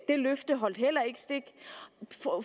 det løfte holdt heller ikke stik